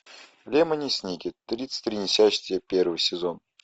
лемони сникет тридцать три несчастья первый сезон